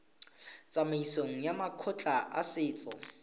tsamaisong ya makgotla a setso